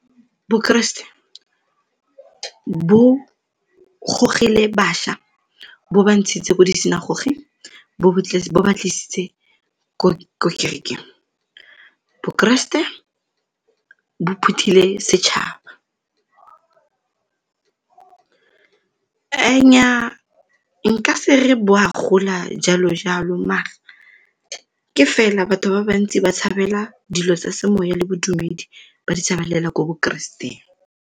Bokeresete bo gogile bašwa, bo ba ntshitse ko di bo ba tlisitse ko di kerekeng. Bokeresete bo phuthile setšhaba Nnyaa, nka se re bo a gola jalo-jalo ke fela batho ba bantsi ba tshabela dilo tsa semoya le bodumedi ba di tshabelela ko bokereseteng.